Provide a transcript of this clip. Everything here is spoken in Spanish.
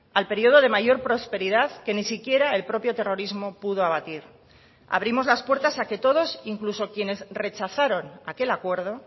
al periodo de mayor prosperidad que ni siquiera el propio terrorismo pudo abatir abrimos las puertas a que todos incluso quienes rechazaron aquel acuerdo